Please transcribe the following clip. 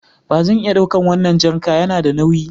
Ba zan iya ɗaukar wannan jerica, yana da nauyi